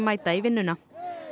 mæta í vinnuna